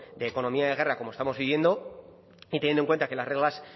de economía de guerra como estamos viviendo y teniendo en cuenta que las reglas